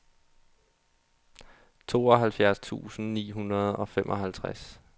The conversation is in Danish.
tooghalvfjerds tusind ni hundrede og femoghalvtreds